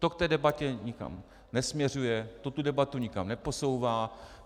To v té debatě nikam nesměřuje, to tu debatu nikam neposouvá.